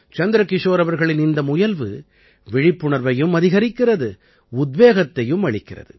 சந்திரகிஷோர் அவர்களின் இந்த முயல்வு விழிப்புணர்வையும் அதிகரிக்கிறது உத்வேகத்தையும் அளிக்கிறது